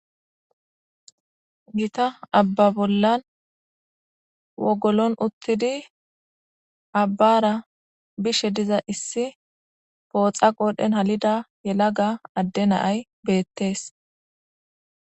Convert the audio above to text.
gita abba bollan wogolon uttidi abbara bishe diza issi pooxa qoodhen halida yela ga adde naay beettees.